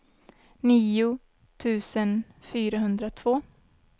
nio tusen fyrahundratvå